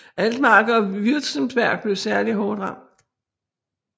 Altmark og Württemberg blev særlig hårdt ramt